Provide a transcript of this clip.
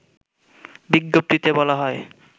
বিজ্ঞপ্তিতে বলা হয়